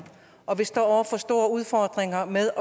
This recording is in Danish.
og vi står over for store udfordringer med